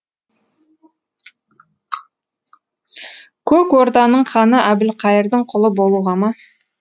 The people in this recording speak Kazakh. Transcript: көк орданың ханы әбілқайырдың құлы болуға ма